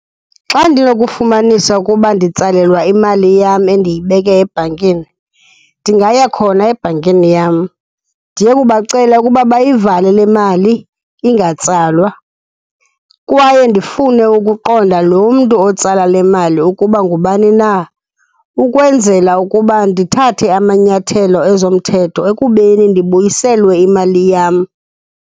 Xa ndinokufumanisa ukuba nditsalelwa imali yam endiyibeke ebhankini, ndingaya khona ebhankini yam ndiyokubacela ukuba bayivale le mali ingatsalwa. Kwaye ndifune ukuqonda lo mntu otsala le mali ukuba ngubani na, ukwenzela ukuba ndithathe amanyathelo ezomthetho ekubeni ndibuyiselwe imali yam.